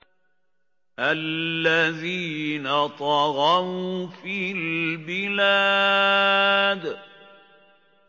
الَّذِينَ طَغَوْا فِي الْبِلَادِ